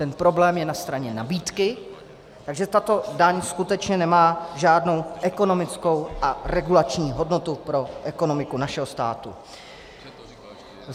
Ten problém je na straně nabídky, takže tato daň skutečně nemá žádnou ekonomickou a regulační hodnotu pro ekonomiku našeho státu.